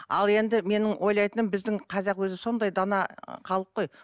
ал енді менің ойлатыным біздің қазақ өзі сондай дана ы халық қой